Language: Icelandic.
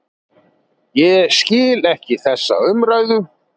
Ég skil ekki þessa umræðu.